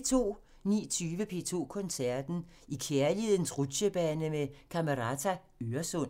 19:20: P2 Koncerten – I kærlighedens rutchebane med Camerata Øresund